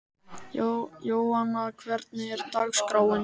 Jóanna, hvernig er dagskráin?